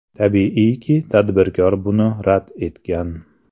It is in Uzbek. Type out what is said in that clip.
Tabiiyki, tadbirkor buni rad etgan.